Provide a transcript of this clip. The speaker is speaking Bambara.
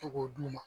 To k'o d'u ma